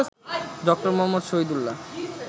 ড. মুহম্মদ শহীদুল্লাহ্